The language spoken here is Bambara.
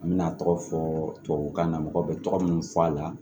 An bɛna tɔgɔ fɔ tubabukan na mɔgɔw bɛ tɔgɔ minnu fɔ a la